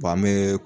an bɛ